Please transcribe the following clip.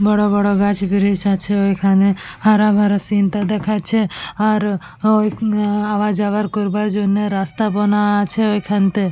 বড় বড় গাছ ব্রিক্স আছে ওইখানে হারা ভরা সিন -টা দেখাচ্ছে আর ওই আ-আওয়া যাওয়ার করবার জন্যে রাস্তা বানা আছে ওইখানতে ।